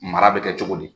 Mara bɛ kɛ cogo di